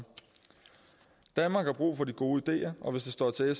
danmark har brug for de gode ideer og hvis det står til